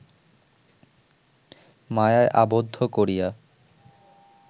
মায়ায় আবদ্ধ করিয়া